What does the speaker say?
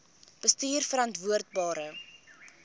bestuurverantwoordbare